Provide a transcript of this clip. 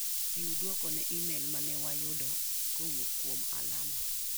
Chiw duoko ne imel mane wayudo kowuok kuom Alama.